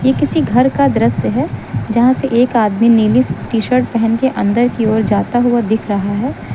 ये किसी घर का दृश्य है जहां से एक आदमी नीली टी शर्ट पहन के अंदर कि ओर जाता हुआ दिख रहा है।